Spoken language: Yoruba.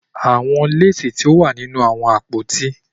The lace is in the wardrobe